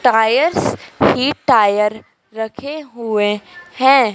Tyres ही tyre रखे हुए है।